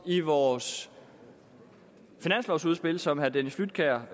i vores finanslovudspil som herre dennis flydtkjær